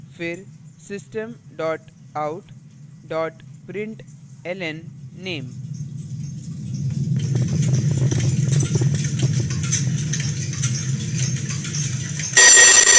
फिर system dot out dot println name